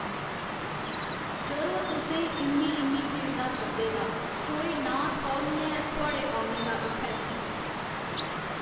जरो तुसें ई इन्नी इन्नी चिर दा सद्दे दा कोई नांऽ थौह् निं ऐ थुआढ़े औन दा इत्थै।